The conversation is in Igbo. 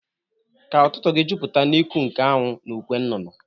Ka ututu gi juputa n'iku nke anwu na ukwe nnụnụ